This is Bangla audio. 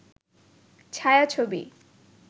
ছায়াছবি